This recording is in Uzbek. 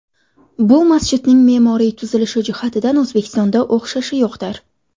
Bu masjidning me’moriy tuzilishi jihatidan O‘zbekistonda o‘xshashi yo‘qdir.